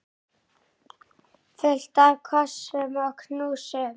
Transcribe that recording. Fullt af kossum og knúsum.